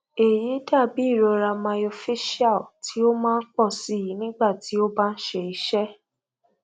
eyi dabi irora myofascial ti o maa pọ sii nigba ti o ba n ṣe iṣe